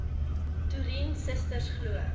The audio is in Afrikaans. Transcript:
toerien susters glo